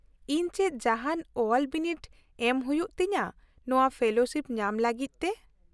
ᱼᱤᱧ ᱪᱮᱫ ᱡᱟᱦᱟᱱ ᱚᱞ ᱵᱤᱱᱤᱰ ᱮᱢ ᱦᱩᱭᱩᱜᱼᱟ ᱛᱤᱧᱟᱹ ᱱᱚᱶᱟ ᱯᱷᱮᱞᱳᱥᱤᱯ ᱧᱟᱢ ᱞᱟᱹᱜᱤᱫ ᱛᱮ ?